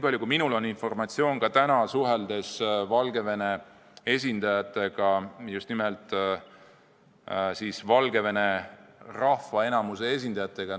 Natuke mul informatsiooni on – ka täna suhtlesin ma Valgevene esindajatega, just nimelt siis valgevenelaste enamuse esindajatega.